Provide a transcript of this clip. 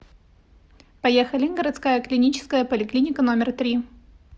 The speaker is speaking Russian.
поехали городская клиническая поликлиника номер три